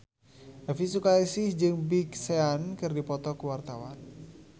Elvi Sukaesih jeung Big Sean keur dipoto ku wartawan